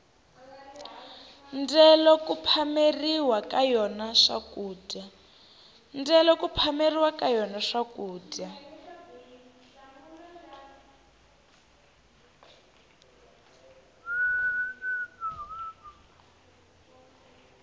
ndyelo ku phameriwa ka yona swakudya